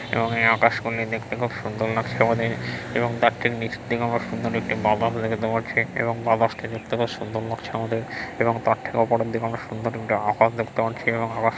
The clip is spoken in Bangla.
রঙের আকাশকুনি দেখতে খুব সুন্দর লাগছে আমাদের |এবং তার ঠিক নিচের দিকে আমরা সুন্দর একটি মা বাস দেখতে পারছি | এবং মা বাস -টি দেখতে বেশ সুন্দর লাগছে আমাদের এবং তার ঠিক ওপরের দিকে আমরা সুন্দর একটি আকাশ দেখতে পাচ্ছি | এবং আকা-- |